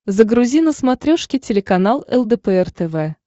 загрузи на смотрешке телеканал лдпр тв